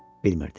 Bilmirdi.